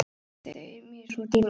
Þau eru mér svo dýrmæt.